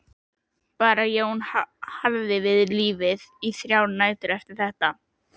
Bara Jón hjarði við lífið í þrjár nætur eftir þetta.